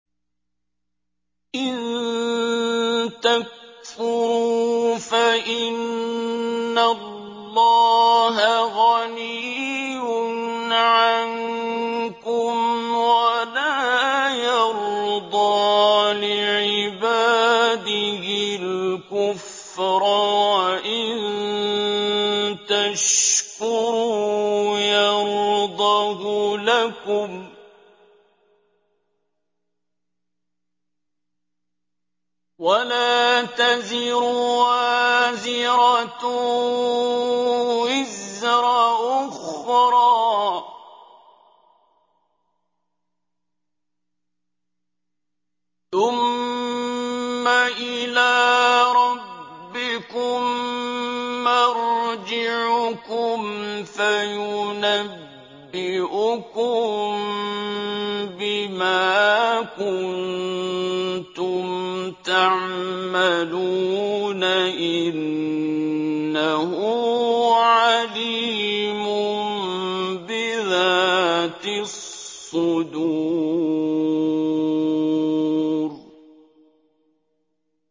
إِن تَكْفُرُوا فَإِنَّ اللَّهَ غَنِيٌّ عَنكُمْ ۖ وَلَا يَرْضَىٰ لِعِبَادِهِ الْكُفْرَ ۖ وَإِن تَشْكُرُوا يَرْضَهُ لَكُمْ ۗ وَلَا تَزِرُ وَازِرَةٌ وِزْرَ أُخْرَىٰ ۗ ثُمَّ إِلَىٰ رَبِّكُم مَّرْجِعُكُمْ فَيُنَبِّئُكُم بِمَا كُنتُمْ تَعْمَلُونَ ۚ إِنَّهُ عَلِيمٌ بِذَاتِ الصُّدُورِ